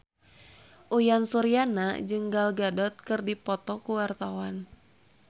Uyan Suryana jeung Gal Gadot keur dipoto ku wartawan